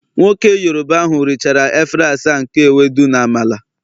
Nwoke Yoruba ahu richara efere asaa nke Ewedu na Amala